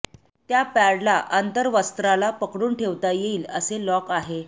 त्या पॅडला अंतर्वस्त्राला पकडून ठेवता येईल असे लॉक आहे